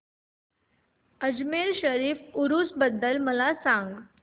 अजमेर शरीफ उरूस बद्दल मला सांग